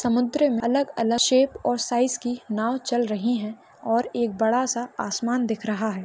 समुद्र अलग-अलग शेप और साइज की नाव चल रही है और एक बडासा आसमान दिख रहा है।